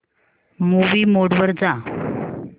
movie mode वर जा